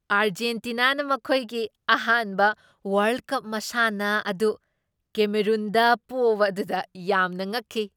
ꯑꯔꯖꯦꯟꯇꯤꯅꯥꯅ ꯃꯈꯣꯏꯒꯤ ꯑꯍꯥꯟꯕ world cup ꯃꯁꯥꯟꯅ ꯑꯗꯨ ꯀꯦꯃꯦꯔꯨꯟꯗ ꯄꯣꯕ ꯑꯗꯨꯗ ꯌꯥꯝꯅ ꯉꯛꯈꯤ ꯫